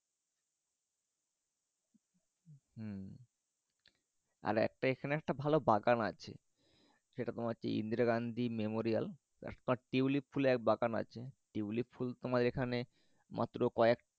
আর এখানে একটা ভালো বাগান আছে। সেটা হচ্ছে ইন্দিরা গান্ধী মেমোরিয়াল তারপর তিউলিপ ফুলের বাগান আছে টিউলিপ ফুল তোমার এখানে মাত্র কয়েক